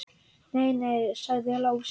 Nei, nei, sagði Lási.